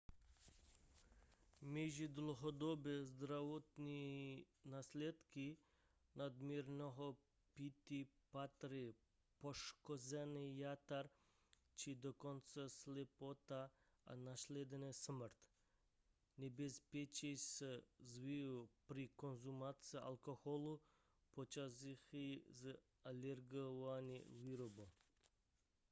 mezi dlouhodobé zdravotní následky nadměrného pití patří poškození jater či dokonce slepota a následná smrt nebezpečí se zvyšuje při konzumaci alkoholu pocházejícího z ilegální výroby